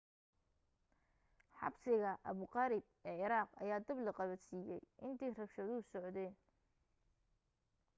xabsiga abu gharib ee ciraaq ayaa dab la qabadsiiyay intii rabshaduhu socdeen